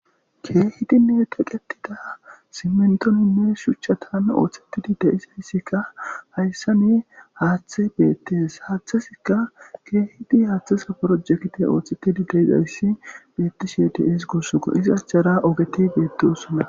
Keekidinne theqeththida simminththonne shuchchathan ooseththidi eqqidi de7izayssikka hayssani haaththay beeththees; haaththathikka keehidi haaththaso projekthe ooseththidi de7izayssi beeththishee de7ees koo; iza achchara ogethi beeththoosona.